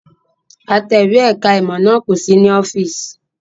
Atẹ̀wé ẹ̀ka-ìmọ̀ náà kò sí ní ọ́fíísì.